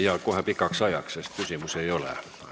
Ja kohe pikaks ajaks, sest küsimusi ei ole.